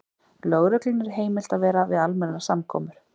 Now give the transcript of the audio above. Lögreglunni er heimilt að vera við almennar samkomur.